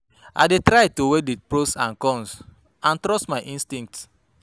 I dey try to weigh di pros and cons and trust my instincts.